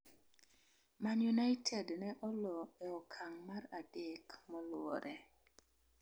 Man United ne olo e okang' mar adek moluwore